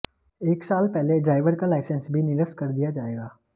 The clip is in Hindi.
एक साल पहले ड्राइवर का लाइसेंस भी निरस्त कर दिया जाएगा